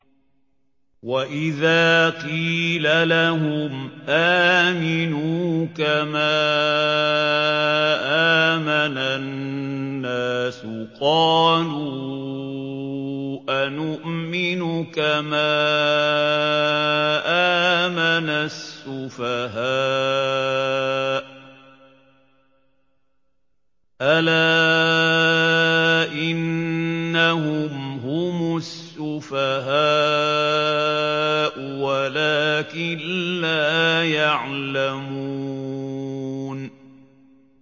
وَإِذَا قِيلَ لَهُمْ آمِنُوا كَمَا آمَنَ النَّاسُ قَالُوا أَنُؤْمِنُ كَمَا آمَنَ السُّفَهَاءُ ۗ أَلَا إِنَّهُمْ هُمُ السُّفَهَاءُ وَلَٰكِن لَّا يَعْلَمُونَ